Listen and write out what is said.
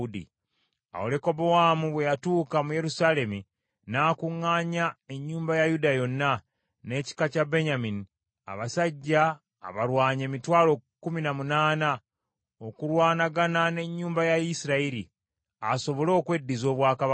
Awo Lekobowaamu bwe yatuuka mu Yerusaalemi n’akuŋŋaanya ennyumba ya Yuda yonna, n’ekika kya Benyamini, abasajja abalwanyi emitwalo kkumi na munaana, okulwanagana n’ennyumba ya Isirayiri, asobole okweddiza obwakabaka.